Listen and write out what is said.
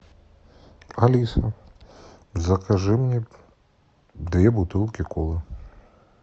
алиса закажи мне две бутылки колы